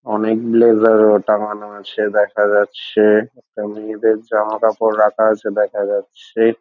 অনেক গুলো জা- আ টাঙ্গানো আছে দেখা যাচ্ছে- এ একটা মেয়ে দেড় জামা কাপড় রাখা আছে দেখা যাচ্ছে।